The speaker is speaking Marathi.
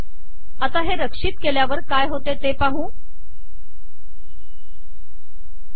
आता हे रक्षित केल्यावर काय होते ते पाहू या